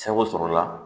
Sago sɔrɔla